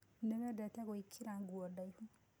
Nĩwendete gũĩkira nguo ndaihu.